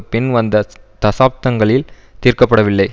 பின் வந்த தசாப்தங்களில் தீர்க்க படவில்லை